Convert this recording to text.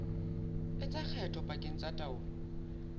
etsa kgetho pakeng tsa taolo